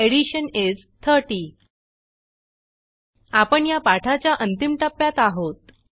addition इस 30 आपण या पाठाच्या अंतिम टप्प्यात आहोत